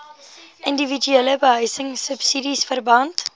indiwiduele behuisingsubsidies verband